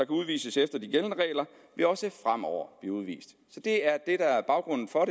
udvises efter de gældende regler også fremover blive udvist så det er det der er baggrunden for